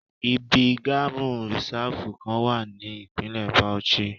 Ibi Gamu Risafu kan wa ni ipinlẹ Bauchi.